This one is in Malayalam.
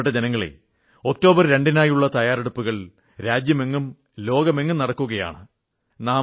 പ്രിയപ്പെട്ട ജനങ്ങളേ ഒക്ടോബർ 2 നായുള്ള തയ്യാറെടുപ്പുകൾ രാജ്യമെങ്ങും ലോകമെങ്ങും നടക്കുകയാണ്